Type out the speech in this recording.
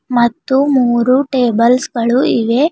ಮತ್ತು ಮೂರು ಟೇಬಲ್ಸ್ ಗಳು ಇವೆ.